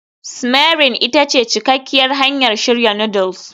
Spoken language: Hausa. simmering ita ce cikakkiyar hanyar shirya noodles